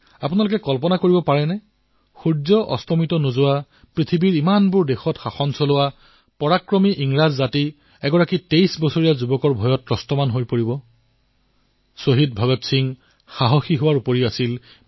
আপোনালোকে কল্পনা কৰিব পাৰেনে এক শাসকপক্ষ যি সমগ্ৰ পৃথিৱীতে ৰাজত্ব কৰিছিল তেওঁলোকৰ বিষয়ে কোৱা হয় যে তেওঁলোকৰ শাসনত কেতিয়াও সূৰ্য অস্ত নগৈছিল